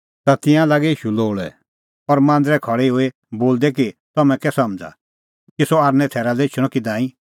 ता तिंयां लागै ईशू लोल़ै और मांदरै खल़ै हई बोलदै कि तम्हैं कै समझ़ा कि सह थैरा लै एछणअ कि नांईं